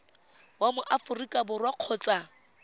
wa mo aforika borwa kgotsa